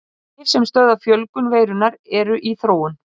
Lyf sem stöðva fjölgun veirunnar eru í þróun.